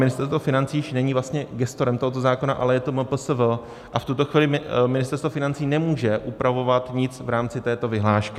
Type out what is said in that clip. Ministerstvo financí už není vlastně gestorem tohoto zákona, ale je to MPSV, a v tuto chvíli Ministerstvo financí nemůže upravovat nic v rámci této vyhlášky.